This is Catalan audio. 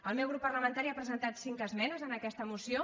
el meu grup parlamentari ha presentat cinc esmenes en aquesta moció